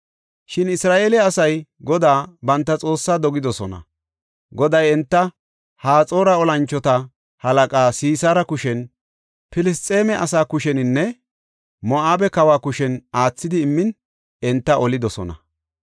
“Shin Isra7eele asay Godaa banta Xoossaa dogidosona. Goday enta Haxoora tora mocona Sisaara kushen, Filisxeeme asaa kusheninne Moo7abe kawa kushen aathidi immin enta olidosona.